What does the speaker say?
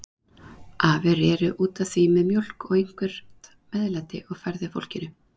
Afi reri út að því með mjólk og eitthvert meðlæti og færði fólkinu.